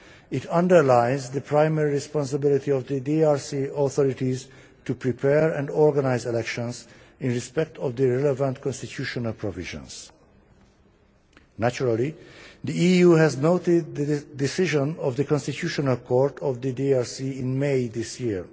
It underlines the primary responsibility of the DRC authorities to prepare and organise elections in respect of their relevant constitutional provisions. Naturally, the EU has noted the decision of the Constitutional Court of the DRC in May this year.